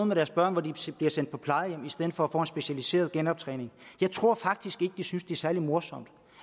med deres børn som bliver sendt på plejehjem i stedet for at få en specialiseret genoptræning jeg tror faktisk ikke at de synes det er særlig morsomt